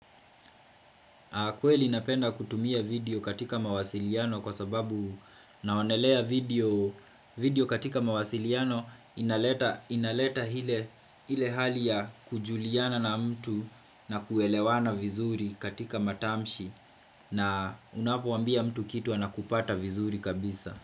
Kweli napenda kutumia video katika mawasiliano kwa sababu naonelea video katika mawasiliano inaleta ile hali ya kujuliana na mtu na kuelewana vizuri katika matamshi na unapoambia mtu kitu anakupata vizuri kabisa.